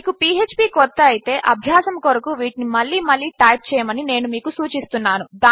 మీకుphpకొత్తఅయితే అభ్యాసముకొరకువీటినిమళ్ళీమళ్ళీటైప్చేయమనినేనుమీకుసూచిస్తున్నాను